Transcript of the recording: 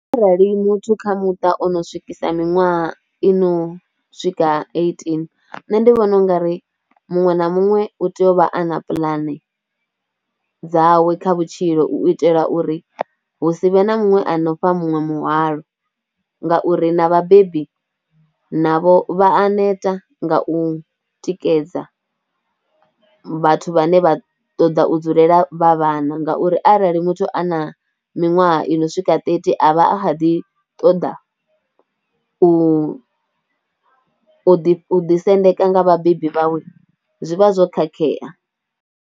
Arali muthu kha muṱa ono swikisa miṅwaha i no swika eighteen, nṋe ndi vhona ungari muṅwe na muṅwe u tea u vha a na puḽane dzawe kha vhutshilo u itela uri hu si vhe na muṅwe a no fha muṅwe muhwalo ngauri, na vhabebi navho vha a neta nga u tikedza vhathu vhane vha ṱoḓa u dzulela vhana, ngauri arali muthu a na miwaha i no swika thirty a vha a kha ḓi ṱoḓa u, u ḓi u ḓi sendeka nga vhabebi vhawe, zwi vha zwo khakhea.